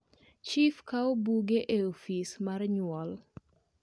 chif kaw buge e ofis mar nyuol